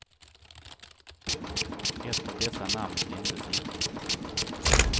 Ett av dessa namn nämndes icke.